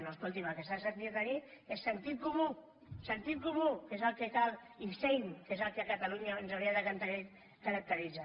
no escolti’m el que s’ha de tenir és sentit comú sentit comú que és el cal i seny que és el que a catalunya ens hauria de caracteritzar